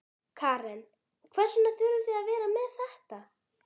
Karen: Og hvers vegna þurfið þið að vera með þetta?